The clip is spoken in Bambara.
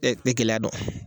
Tɛ tɛ gɛlɛya dɔn